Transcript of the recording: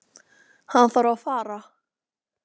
Hann þarf að fara.